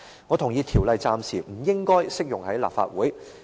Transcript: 我同意《條例草案》暫時不應適用於立法會。